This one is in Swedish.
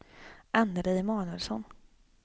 Anneli Emanuelsson